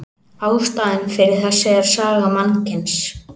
Ástæðan fyrir þessu er saga mannkyns.